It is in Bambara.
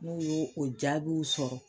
N'u y'o o jaabiw sɔrɔ